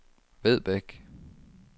Vedbæk